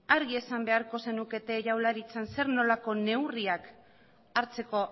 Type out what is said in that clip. argi esan beharko zenukete jaurlaritzan zer nolako neurriak hartzeko